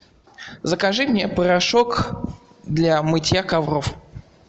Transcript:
закажи мне порошок для мытья ковров